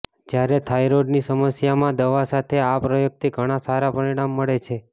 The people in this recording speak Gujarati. જ્યારે થાઈરોડની સમસ્યામાં દવા સાથે આ પ્રયોગથી ઘણા સારા પરીણામ મળે છે